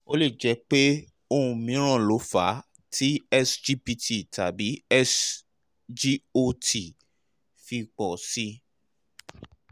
ó lè jẹ́ pé ohun mìíràn ló fà á tí sgpt tàbí sgot fi pọ̀ sí i